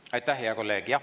Aitäh, hea kolleeg!